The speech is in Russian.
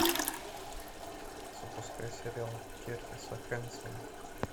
запускай сериал кертиса хэнсона